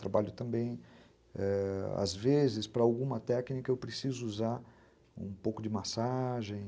Trabalho também, ãh, às vezes, para alguma técnica eu preciso usar um pouco de massagem.